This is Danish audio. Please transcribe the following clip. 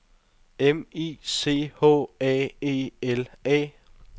M I C H A E L A